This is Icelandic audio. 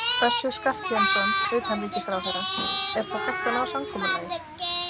Össur Skarphéðinsson, utanríkisráðherra: Er þá hægt að ná samkomulagi?